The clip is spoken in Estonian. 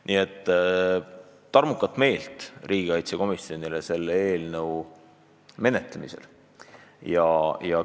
Nii et tarmukust ja kindlat meelt riigikaitsekomisjonile selle eelnõu menetlemisel!